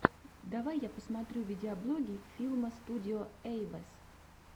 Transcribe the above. давай я посмотрю видеоблоги филма студио эйвэс